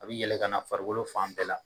A bɛ yɛlɛ ka na farikolo fan bɛɛ la.